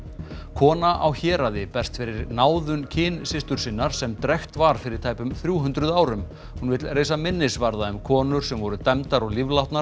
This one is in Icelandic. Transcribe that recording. kona á Héraði berst fyrir náðun kynsystur sinnar sem drekkt var fyrir tæpum þrjú hundruð árum hún vill reisa minnisvarða um konur sem voru dæmdar og